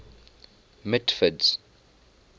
mitford's